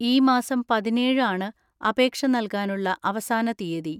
ഈ മാസം പതിനേഴ് ആണ് അപേക്ഷ നൽകാനുള്ള അവസാന തീയതി.